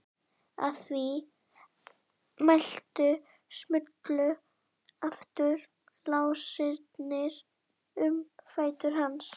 Að því mæltu smullu aftur lásarnir um fætur hans.